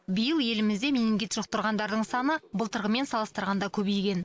биыл елімізде менингит жұқтырғандардың саны былтырғымен салыстырғанда көбейген